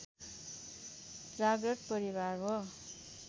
जाग्रत परिवार हो